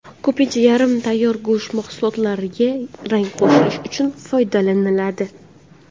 Ko‘pincha yarim tayyor go‘sht mahsulotlariga rang qo‘shish uchun foydalaniladi.